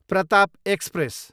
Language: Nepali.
प्रताप एक्सप्रेस